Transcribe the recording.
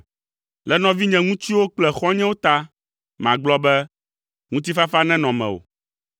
Le nɔvinye ŋutsuwo kple xɔ̃nyewo ta, magblɔ be, “Ŋutifafa nenɔ mewò.”